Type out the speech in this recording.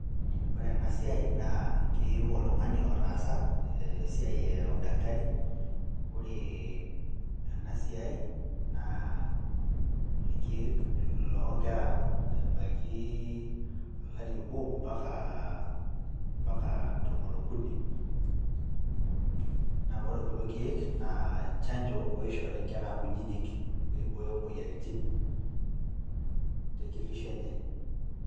Ore ena siai keyieu oltung'ani otaasa esiai ee udakitari ore ena siai naa irkeek loonkera ebaiki olari obo mpaka tomon okuni naa ore kulo keek naa chanjo oishori inkera kunyinyi pee eibooyo imoyiaritin tekitisho enye.